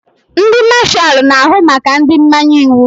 Ndị Mashalu na-ahụ maka ndị mmanye iwu.